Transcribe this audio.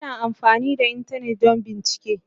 Ana amfani da Intanet don bincike.